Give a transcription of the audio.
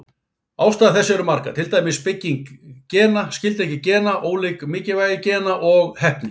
Ástæður þess eru margar, til dæmis bygging gena, skyldleiki gena, ólíkt mikilvægi gena og heppni.